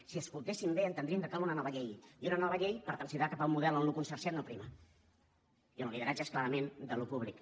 si escoltéssim bé entendríem que cal una nova llei i una nova llei per transitat cap a un model on el consorciat no prima i on el lideratge és clarament d’allò públic